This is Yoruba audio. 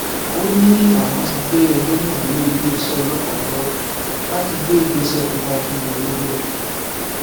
ó ní àwọn ti gbé ẹjọ náà lé iléeṣẹ ọlọpàá lọwọ láti gbé ìgbésẹ tó bá tún yẹ lórí ẹ